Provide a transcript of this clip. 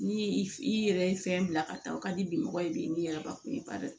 Ni i yɛrɛ ye fɛn bila ka taa o ka di mɔgɔ ye bi n'i yɛrɛ bakun ye bari